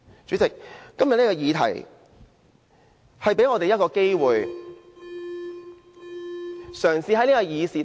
主席，今天這個議題給我們一個機會。